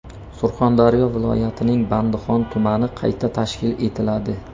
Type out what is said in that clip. Surxondaryo viloyatining Bandixon tumani qayta tashkil etiladi.